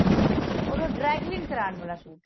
ਹੋਰ ਉਹ dry clean ਕਰਵਾਣ ਵਾਲਾ ਸੂਟ ਸੀ